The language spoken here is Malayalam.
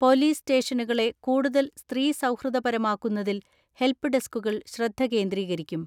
പൊലീസ് സ്റ്റേഷനുകളെ കൂടുതൽ സ്ത്രീ സൗഹൃദപര മാക്കുന്നതിൽ ഹെൽപ്പ് ഡെസ്കുകൾ ശ്രദ്ധകേന്ദ്രീകരിക്കും.